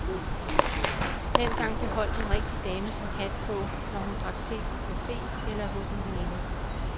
Dengang beholdt en rigtig dame sin hat på, når hun drak te på cafe eller hos en veninde.